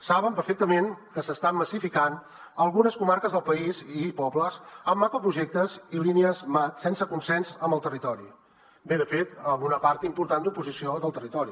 saben perfectament que s’estan massificant algunes comarques del país i pobles amb macroprojectes i línies mat sense consens amb el territori bé de fet amb una part important d’oposició del territori